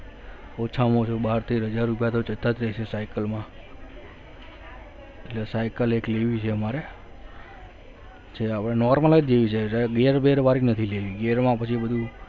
ઓછામાં ઓછું બાર તેર હજાર રૂપિયા તો જતા રહેશે cycle માં એટલે cycle એક લેવી છે મારે જે હવે normal જ લેવી છે ઘેર બેર વાળી નથી લેવી ગેર માં પછી બધું